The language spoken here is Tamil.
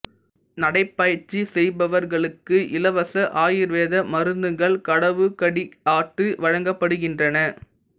நடைப்பயிற்சி செய்பவர்களுக்கு இலவச ஆயுர்வேத மருந்துகள் கடவு கடியாட்டு வழங்கப்படுகின்றன